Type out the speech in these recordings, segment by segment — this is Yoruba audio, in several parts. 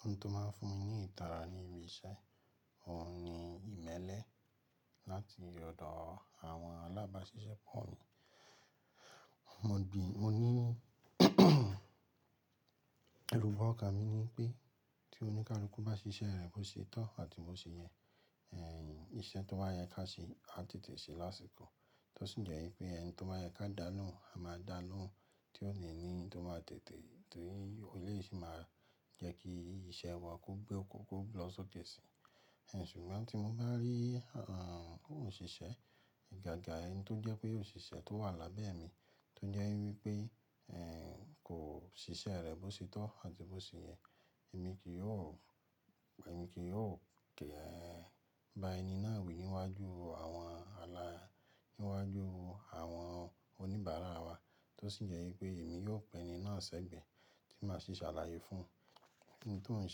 Ohun tó máa ń fún mi ní ìtara ní ibi iṣẹ́, òun ni ìmẹ́lẹ́ láti ọ̀dọ̀ àwọn alábáṣiṣẹ́ pọ̀ mi. Mo ní irúbọ ọkà mi ni pé tí oníkárí kú bá ṣiṣẹ́ rẹ̀ bó ṣe tọ́ àti bó ṣe yẹ, iṣẹ́ tó wá yẹ ká ṣe á tètè ṣe lásìkò. Tó sì jẹ́ wípé ẹni tó máa yẹ ká dànù a máa dànù tí ó ní ní tó máa tètè torí ó lè sì máa jẹ́ kí iṣẹ́ wa kú gbé ó kú gbé lọ sókèsì. Ṣùgbọ́n tí mo bá rí òṣìṣẹ́, ìgàgà ẹni tó jẹ́ pé òṣìṣẹ́ tó wà lábẹ́ mi tó jẹ́ wípé kò ṣiṣẹ́ rẹ̀ bó ṣe tọ́ àti bó ṣe yẹ, èmi kì yóò, èmi kì yóò gé ba ẹni náà wí níwájú àwọn ala, níwájú àwọn oníbàárà wa. Tó sì jẹ́ wípé èmi yóò pẹ́ ẹni náà sẹ́gbẹ̀ẹ́ tí màá sì ṣàlàyé fún ẹni tí ò ń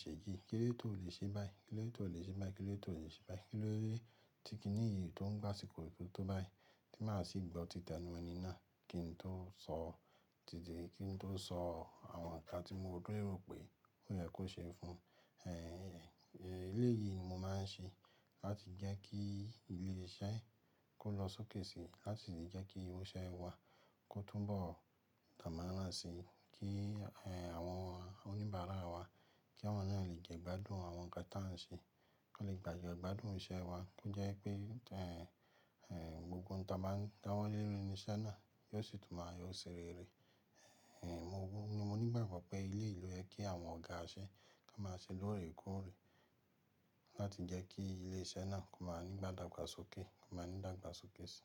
ṣe ìjì, kílé tó lè ṣe báyìí, kílé tó lè ṣe báyìí, kílé tó lè ṣe báyìí. Kílé tí kìní iìyì tó ń gbá sìkò yìí tó bá yìí tí màá sì gbọ́ títẹ nú ẹni náà kí n tó sọ tìtì, kí n tó sọ àwọn nǹkan tí mo gbọ́ èrò pé ó yẹ kó ṣe fún. Eléyìí ni mo máa ń ṣe láti jẹ́ kí ilé iṣẹ́ kó lọ sókèsì láti lè jẹ́ kí irúṣẹ́ wá kó túbọ̀ dànmárà si, kí àwọn oníbàárà wa, kí àwọn náà lè jẹ́ gbádùn àwọn nǹkan tí à ń ṣe, kó lè gbà jẹ́ gbádùn iṣẹ́ wa, kó jẹ́ pé ohun tí wọ́n lérò ni iṣẹ́ náà yóò sì tún máa yóò ṣèrere. Mo ní ìgbàgbọ́ pé ilé ìlú yẹ kí àwọn ọ̀gá iṣẹ́ ká máa ṣe lóòrè kóòrè láti jẹ́ kí ilé iṣẹ́ náà kó máa ní ìdàgbàsókè, kó máa ní ìdàgbàsókèsì.